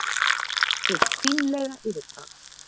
Hið fínlega yfirbragð